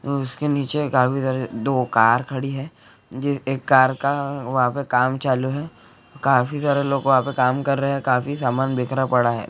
उसके नीचे काफी सारे दो कार खड़ी है एक कार का वहा पे काम चालू है काफी सारे लोग वहां पे काम कर रहे है काफी सामान बीखरा पड़ा है।